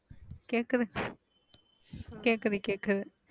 கேக்குது கேக்குது கேக்குது,